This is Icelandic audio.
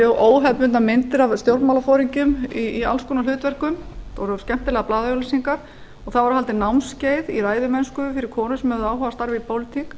óhefðbundnar myndir af stjórnmálaforingjum í alls konar hlutverkum það voru skemmtilegar blaðaauglýsingar það voru haldin námskeið í ræðumennsku fyrir konur sem höfðu áhuga á að starfa í pólitík